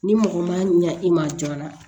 Ni mɔgɔ man ɲa i ma joona